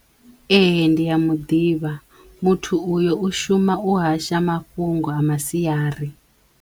Ehe ndi ya muḓivha muthu uyo u shuma u hasha mafhungo a masiari.